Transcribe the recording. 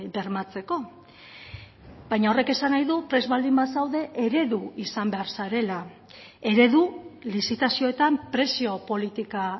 bermatzeko baina horrek esan nahi du prest baldin bazaude eredu izan behar zarela eredu lizitazioetan prezio politika